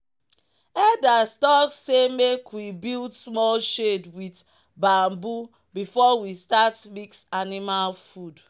"elders talk say make we build small shade with bamboo before we start mix animal food."